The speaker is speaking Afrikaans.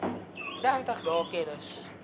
dertig dae kennis